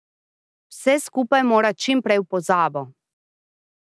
Vse skupaj mora čim prej v pozabo.